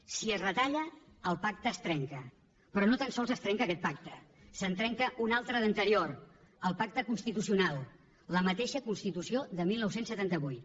si es retalla el pacte es trenca però no tan sols es trenca aquest pacte se’n trenca un altre d’anterior el pacte constitucional la mateixa constitució de dinou setanta vuit